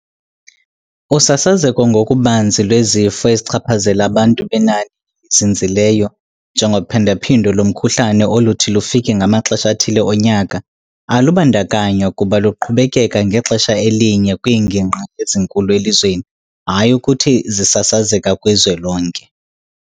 Usasazeko ngokubanzi lwezifo ezichaphazela abantu benani elizinzileyo, njengophindaphindo lomkhuhlane oluthi lufike ngamaxesha athile onyaka, alubandakanywa kuba luqhubekeka ngexesha elinye kwiingingqi ezinkulu elizweni, hayi ukuthi zisasazeka kwizwe lonke.